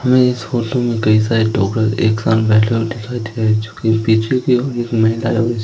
हमें इस फोटो में कई सारे लोग एक साथ बैठे हुए दिखाई दे रहे हैं जोकि पीछे की ओर एक महिला है और--